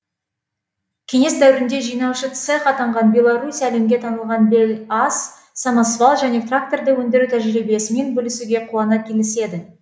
кеңес дәуірінде жинаушы цех атанған беларусь әлемге танылған белаз самосвал және тракторды өндіру тәжірибесімен бөлісуге қуана келіседі